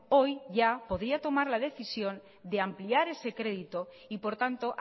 hoy ya podría tomar la decisión de ampliar ese crédito y por tanto